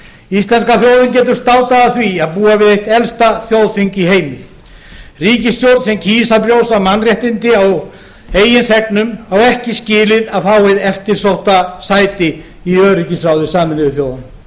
íslenska þjóðin getur státað af því að búa við elsta þjóðþing í heimi ríkisstjórn sem kýs að brjóta mannréttindi á eigin þegnum á ekki skilið að fá hið eftirsótta sæti í öryggisráði sameinuðu þjóðanna